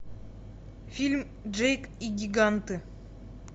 фильм джейк и гиганты